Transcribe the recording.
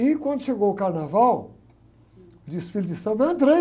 E quando chegou o carnaval, o desfile de samba, eu entrei.